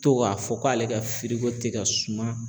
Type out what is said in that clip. To k'a fɔ k'ale ka firiko tɛ ka suma.